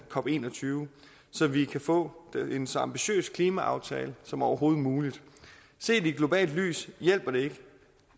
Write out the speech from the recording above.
cop en og tyve så vi kan få en så ambitiøs klimaaftale som overhovedet muligt set i et globalt lys hjælper det ikke